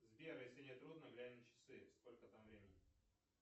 сбер если не трудно глянь на часы сколько там времени